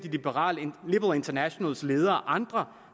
liberal internationals leder og andre